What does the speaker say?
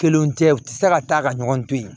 Kelenw tɛ u tɛ se ka taa ka ɲɔgɔn to yen